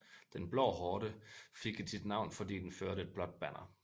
Den blå horde fik sit navn fordi den førte et blåt banner